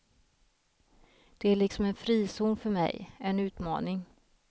Det är liksom en frizon för mig, en utmaning.